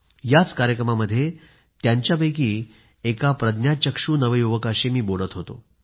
याच कार्यक्रमामध्ये त्यांच्यापैकी एका प्रज्ञाचक्षू नवयुवकाशी मी बोलत होतो